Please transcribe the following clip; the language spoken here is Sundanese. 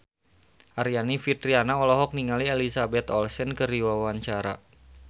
Aryani Fitriana olohok ningali Elizabeth Olsen keur diwawancara